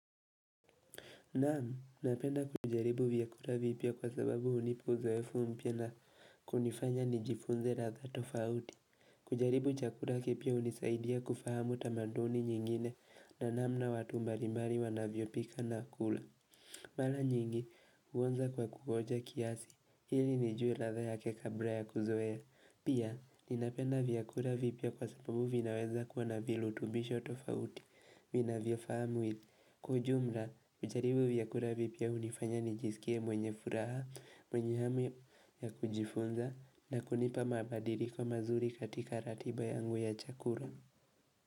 Naam, napenda kujaribu vyakula vipya kwa sababu hunipa uzoefu mpya na kunifanya nijifunze ladha tofauti. Kujaribu chakula kipya hunisaidia kufahamu tamaduni nyingine na namna watu mbalimbali wanavyo pika na kula. Mara nyingi, huanza kwa kuonja kiasi, ili nijue ladha yake kabla ya kuzoea. Pia, ninapenda vyakula vipya kwa sababu vinaweza kuwa na virutubisho tofauti. Vinavyofaa mwili Kwa ujumla, kujaribu vyakula vipya hunifanya nijisikiaemwenye furaha, mwenye hamu ya kujifunza na kunipa mabadiliko mazuri katika ratiba yangu ya chakula.